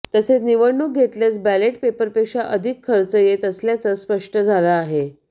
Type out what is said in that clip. तसेच निवडणूक घेतल्यास बॅलेट पेपरपेक्षा अधिक खर्च येत असल्याचं स्पष्ट झालं आहे